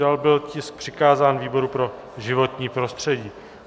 Dále byl tisk přikázán výboru pro životní prostředí.